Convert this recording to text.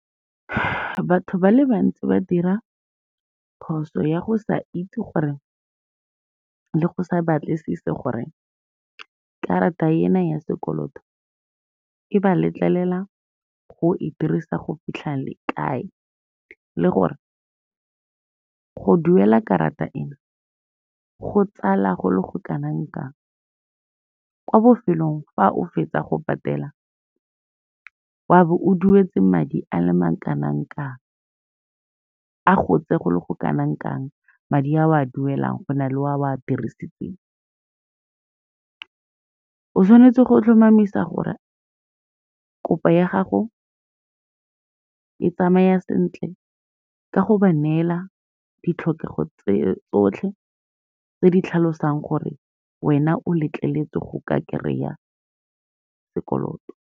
Batho ba le bantsi ba dira phoso ya go sa itse gore le go sa batlisise gore karata ena ya sekoloto e ba letlelela go e dirisa go fitlha kae, le gore go duela karata ena, go tsala go le go kanang kang. Kwa bofelong fa o fetsa go patela, wa bo o duetse madi a le ma kanang kang, a gotse go le go kanang kang madi a o a duelang, go na le a o a dirisitseng. O tshwanetse go tlhomamisa gore kopo ya gago e tsamaya sentle, ka go ba neela ditlhokego tse tsotlhe tse di tlhalosang gore wena o letleletswe go ka kry-a sekoloto.